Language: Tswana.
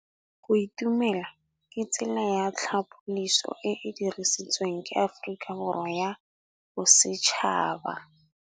Go itumela ke tsela ya tlhapolisô e e dirisitsweng ke Aforika Borwa ya Bosetšhaba.